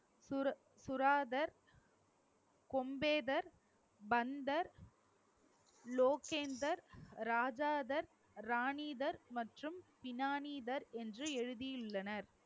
சுரா~ சுராதர், கொம்பேதர், பந்தர், லோகேந்தர், ராஜாதார், ராணிதர், மற்றும் பினாணிதர் என்று எழுதியுள்ளனர்